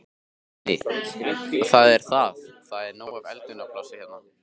Guðný: Og það er, það er nóg af eldunarplássi hérna?